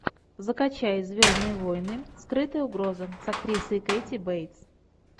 закачай звездные войны скрытая угроза с актрисой кэти бейтс